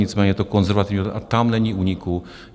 Nicméně je to konzervativní a tam není úniku.